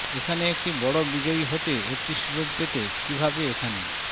এখানে একটি বড় বিজয়ী হতে একটি সুযোগ পেতে কিভাবে এখানে